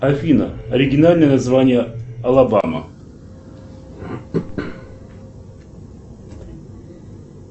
афина оригинальное название алабама